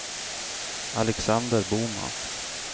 Alexander Boman